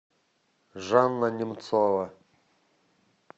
жанна немцова